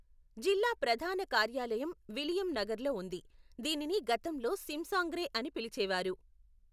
జిల్లా ప్రధాన కార్యాలయం విలియం నగర్లో ఉంది, దీనిని గతంలో సింసాంగ్రే అని పిలిచేవారు.